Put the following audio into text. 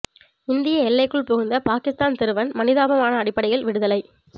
இந்திய எல்லைக்குள் புகுந்த பாகிஸ்தான் சிறுவன் மனிதாபிமான அடிப்படையில் விடுதலை